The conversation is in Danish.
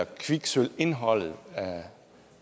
kviksølvindholdet